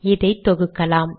இதை தொகுக்கலாம்